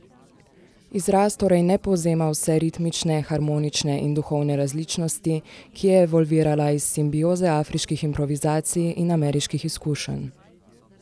Izraz torej ne povzema vse ritmične, harmonične in duhovne različnosti, ki je evolvirala iz simbioze afriških improvizacij in ameriških izkušenj.